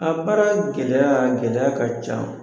A baara gɛlɛya, gɛlɛya ka ca.